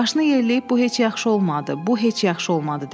Başını yelləyib bu heç yaxşı olmadı, bu heç yaxşı olmadı dedi.